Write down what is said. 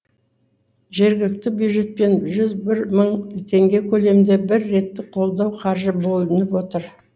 жергілікті бюджетпен жүз бір мың теңге көлемінде бір реттік қолдау қаржы бөлініп отыр